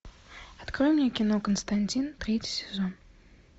открой мне кино константин третий сезон